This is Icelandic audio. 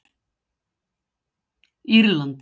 Írland